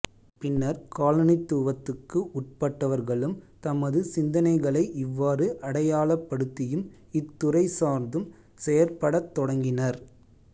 பின்னர் காலனித்துவத்துக்கு உட்பட்டவர்களும் தமது சிந்தனைகளை இவ்வாறு அடையாளப்படுத்தியும் இத் துறை சார்ந்தும் செயற்படத் தொடங்கினர்